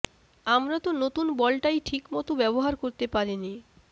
আমরা তো নতুন বলটাই ঠিক মতো ব্যবহার করতে পারিনি